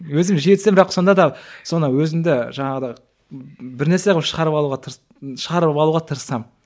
өзім жиі түсем бірақ сонда да соны өзімді жаңағыда бірнәрсе қылып шығарып алуға шығарып алуға тырысамын